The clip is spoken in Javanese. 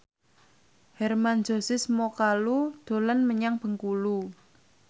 Hermann Josis Mokalu dolan menyang Bengkulu